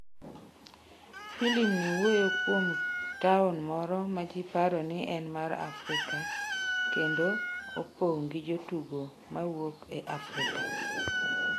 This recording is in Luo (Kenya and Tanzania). Filim ni wuoyo kuom taon moro ma ji paro ni en mar Afrika kendo opong’ gi jotugo ma wuok e Afrika.